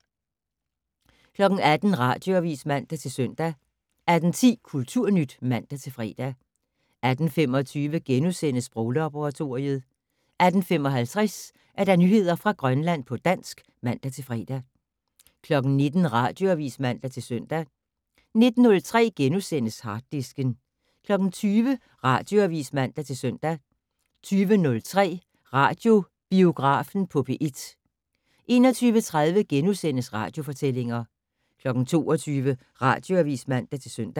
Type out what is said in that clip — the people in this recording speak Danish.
18:00: Radioavis (man-søn) 18:10: Kulturnyt (man-fre) 18:25: Sproglaboratoriet * 18:55: Nyheder fra Grønland på dansk (man-fre) 19:00: Radioavis (man-søn) 19:03: Harddisken * 20:00: Radioavis (man-søn) 20:03: Radiobiografen på P1 21:30: Radiofortællinger * 22:00: Radioavis (man-søn)